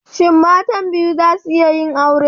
Shin matan biyu za su iya yin aure?